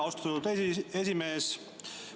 Aitäh, austatud esimees!